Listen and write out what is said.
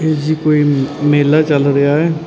ਇਹ ਜੀ ਕੋਈ ਮੇਲਾ ਚਲ ਰਿਹਾ ਹੈ।